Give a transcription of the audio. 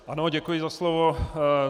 Ano, děkuji za slovo.